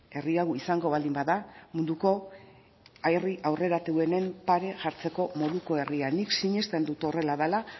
herri hau izango baldin bada munduko herri aurreratuenen pare jartzeko moduko herria nik sinesten dut horrela dela